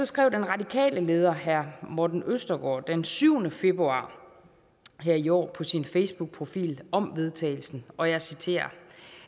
skrev den radikale leder herre morten østergaard den syvende februar her i år på sin facebookprofil om vedtagelsen og jeg citerer